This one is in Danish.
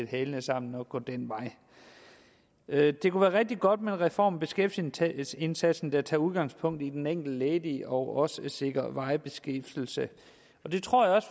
hælene sammen og gå den vej det kunne være rigtig godt med en reform af beskæftigelsesindsatsen der tager udgangspunkt i den enkelte ledige og også sikrer varig beskæftigelse og det tror jeg også